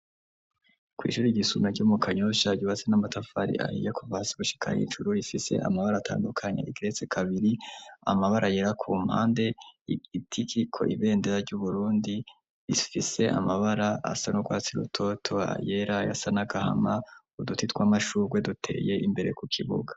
Kw'ishuri ryisumbuye ryo mu kanyosha ryubatse n'amatafari aiyakovasi gushikara hijuru ifise amabara atandukanya igrece kabiri amabara yera ku mpande itikiko ibendera ry'uburundi ifise amabara asa n'urwatsi ruto toa yera yasa nagahama uduti tw'amashurwe duteye imbere ku kibuga.